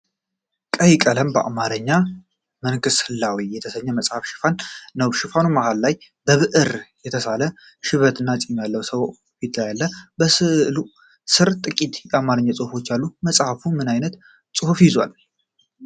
በቀይ ቀለም በአማርኛ "መንክስ ህላዌ" የተሰኘው መጽሐፍ ሽፋን ነው። የሽፋኑ መሃል ላይ በብዕር የተሳለ ሽበትና ፂም ያለው ሰው ፊት አለ። ከስዕሉ ስር ጥቂት የአማርኛ ጽሑፎች አሉ። መጽሐፉ ምን ዓይነት ጽሑፍ ይዟል?